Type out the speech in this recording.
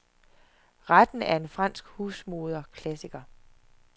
Retten er en fransk husmoderklassiker.